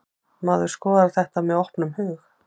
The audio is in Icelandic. Maður skoðar þetta með opnum hug.